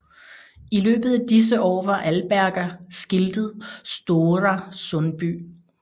I løbet af disse år var Alberga skiltet Stora Sundby